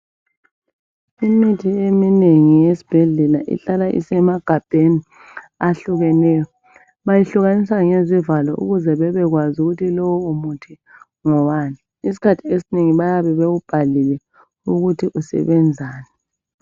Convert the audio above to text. Imithi eminengi yesibhedlela ihlala isemagabheni ahlukeneyo. Bayihlukanisa ngezivalo ukuze babekwazi ukuthi lowumuthi ngowani. isikhathi esinengi bayabe bewubhalile ukuthi usebenzani.